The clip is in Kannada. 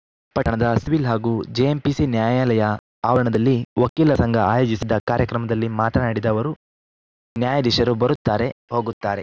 ಪಟ್ಟಣದ ಸಿವಿಲ್‌ ಹಾಗೂ ಜೆಎಂಪಿಸಿ ನ್ಯಾಯಾಲಯ ಆವರಣದಲ್ಲಿ ವಕೀಲ ಸಂಘ ಆಯೋಜಿಸಿದ್ದ ಕಾರ್ಯಕ್ರಮದಲ್ಲಿ ಮಾತನಾಡಿದ ಅವರು ನ್ಯಾಯಾಧೀಶರು ಬರುತ್ತಾರೆ ಹೋಗುತ್ತಾರೆ